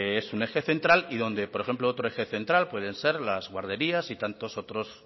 es un eje central y donde por ejemplo otro eje central pueden ser las guarderías y tantos otros